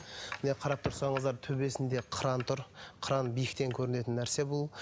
міне қарап тұрсаңыздар төбесінде қыран тұр қыран биіктен көрінетін нәрсе бұл